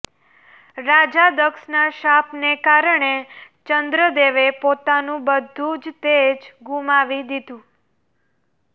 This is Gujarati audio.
રાજા દક્ષના શાપને કારણે ચંદ્રદેવે પોતાનું બધું જ તેજ ગુમાવી દીધું